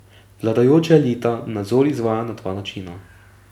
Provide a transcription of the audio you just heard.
Vladajoča elita nadzor izvaja na dva načina.